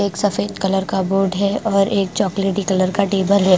एक सफेद कलर का बोर्ड है और एक चॉकलेटी कलर का टेबर है।